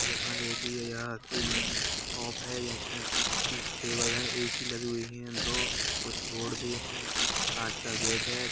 यहाँ देखिये यह कोई शॉप है इसमें अच्छी टेबल है ए_सी लगी हुई है दो कुछ बोर्ड भी है कांच का गेट है।